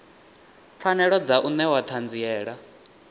pfanelo dza u newa ṱhanziela